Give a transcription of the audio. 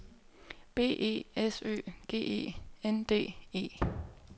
B E S Ø G E N D E